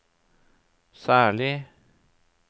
særlig